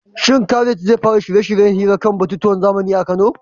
Shin Khalid zai fara shirye-shiryen hirar kan batutuwan zamani a Kano?